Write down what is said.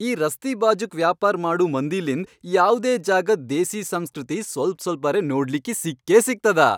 ಈ ರಸ್ತೀ ಬಾಜೂಕ್ ವ್ಯಾಪಾರ್ ಮಾಡೂ ಮಂದಿಲಿಂದ್ ಯಾವ್ದೇ ಜಾಗದ್ ದೇಸೀ ಸಂಸ್ಕೃತಿ ಸ್ವಲ್ಪ್ ಸ್ವಲ್ಪರೆ ನೋಡ್ಲಿಕ್ಕಿ ಸಿಕ್ಕೇಸಿಗ್ತದ.